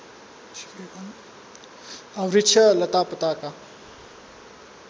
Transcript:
वृक्ष लतापताका